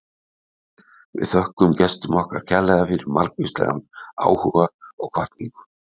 Við þökkum gestum okkar kærlega fyrir margvíslegan áhuga og hvatningu.